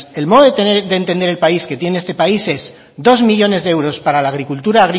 el modo de entender el país que tiene este país es dos millónes de euros para la agricultura